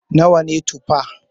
Nawa ne Tufa?